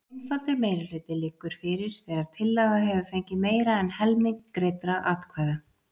Einfaldur meirihluti liggur fyrir þegar tillaga hefur fengið meira en helming greiddra atkvæða.